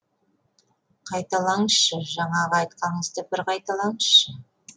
қайталаңызшы жаңағы айтқаныңызды бір қайталаңызшы